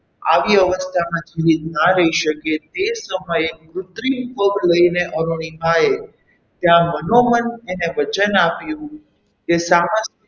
આવી અવસ્થામાં જીવીત ના રહી શકે તે સમયે કુત્રિમ પગ લઈને અરુણિમાએ ત્યાં મનોમન એને વચન આપ્યું કે